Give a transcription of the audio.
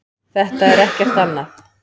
Þetta er ekkert annað.